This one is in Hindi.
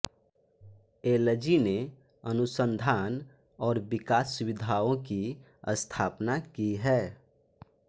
एलजी ने अनुसंधान और विकास सुविधाओं की स्थापना की है